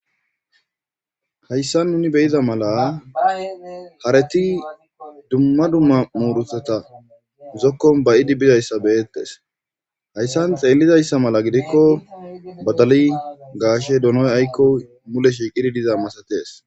hayssa nuni beyida mala hareti dumma dumma muuruteta zokkon bayidi bidayssa beyettes hayssan xeellizayssa mala gidikko badali gaashe donoy aykkoy mule shiiqidi diza masatees